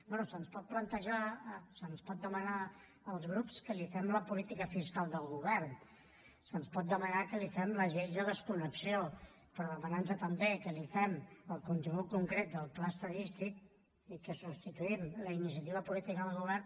bé se’ns pot plantejar se’ns pot demanar als grups que li fem la política fiscal del govern se’ns pot demanar que li fem les lleis de desconnexió però demanar nos també que li fem el contingut concret del pla estadístic i que substituïm la iniciativa política del govern